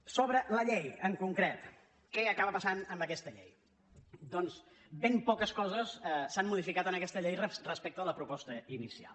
sobre la llei en concret què acaba passant amb aquesta llei doncs ben poques coses s’han modificat en aquesta llei respecte de la proposta inicial